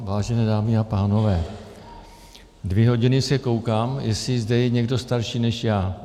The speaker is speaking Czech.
Vážené dámy a pánové, dvě hodiny se koukám, jestli zde je někdo starší než já.